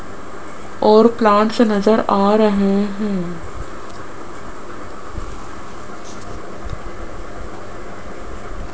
और प्लांट्स नजर आ रहे हैं।